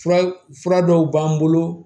Fura fura dɔw b'an bolo